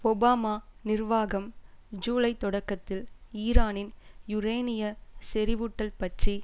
Obama நிர்வாகம் July தொடக்கத்தில் ஈரானின் யுரேனிய செறிவூட்டல் பற்றி